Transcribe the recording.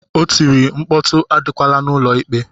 O tiri, mkpọtụ adịkwala n'ụlọ ikpe!